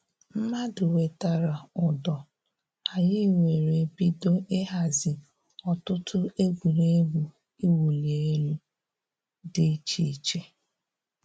Mmadụ wetara ụdọ, anyị were bido ịhazi ọtụtụ egwuregwu iwuli elu dị iche iche